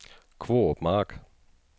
Kvorup Mark